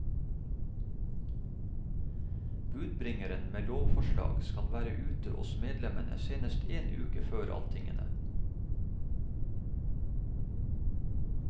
Budbringeren med lovforslag skal være ute hos medlemmene senest en uke før alltingene.